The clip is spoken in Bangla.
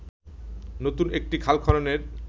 নতুন একটি খাল খননের